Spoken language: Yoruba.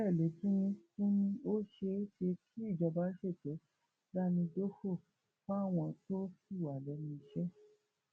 bẹẹ ló tún ní tún ní ó ṣeé ṣe kí ìjọba ṣètò dámidòfo fáwọn tó ṣì wà lẹnu iṣẹ